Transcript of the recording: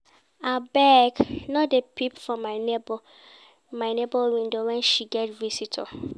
Abeg no dey peep for my nebor window wen she get visitor.